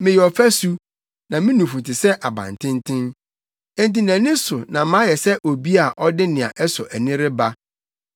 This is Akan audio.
Meyɛ ɔfasu, na me nufu te sɛ abantenten. Enti nʼani so no mayɛ sɛ obi a ɔde nea ɛsɔ ani reba.